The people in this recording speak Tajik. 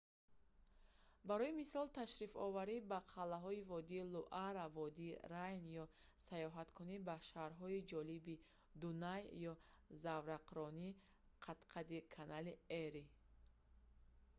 барои мисол ташрифоварӣ ба қалъаҳои водии луара водии рейн ё саёҳаткунӣ ба шаҳрҳои ҷолиби дунай ё заврақронӣ қад-қади канали эри